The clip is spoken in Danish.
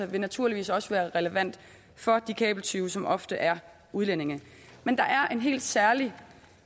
vil naturligvis også være relevant for de kabeltyve som ofte er udlændinge men der er en helt særlig